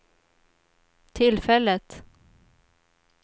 tillfället